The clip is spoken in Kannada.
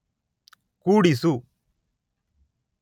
ಕೂಡಿಸು